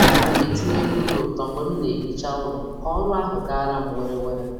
A na m etinye egwu dị ụtọ mgbe m na - ehicha ụlọ ka ọrụ ahụ gara m were were.